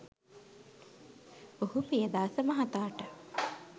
ඔහු පියදාස මහතාට